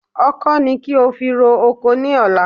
Ọkọ́ ni kí o fi ro oko ní ọ̀la